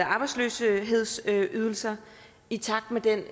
arbejdsløshedsydelser i takt med den